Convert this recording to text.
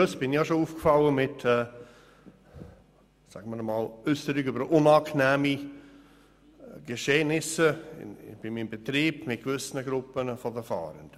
Ich bin schon mit Äusserungen über unangenehme Geschehnisse mit gewissen Gruppen von Fahrenden bei meinem Betrieb aufgefallen.